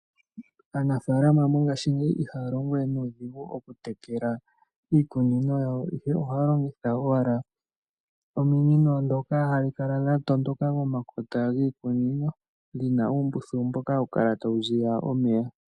Aanafalama mongashingeyi iha longowe nuudhingu oku tekela iikunino yawo ihe oha longitha owala ominino dhoka hadhi kala owala dha tondoka pomakota giimeno dhina uumbuthulu mboka hawu kala tawu ziya omeya.